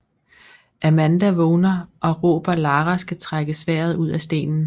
Amanda vågner og råber Lara skal trække sværdet ud af stenen